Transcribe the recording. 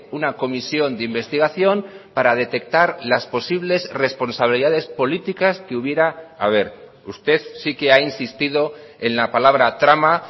una comisión de investigación para detectar las posibles responsabilidades políticas que hubiera haber usted sí que ha insistido en la palabra trama